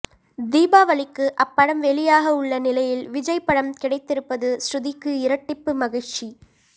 தீபாவளிக்கு அப்படம் வெளியாக உள்ள நிலையில் விஜய் படம் கிடைத்திருப்பது ஸ்ருதிக்கு இரட்டிப்பு மகிழ்ச்சி